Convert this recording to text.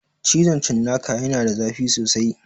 Cizon cinnaka ya na da zafi sosai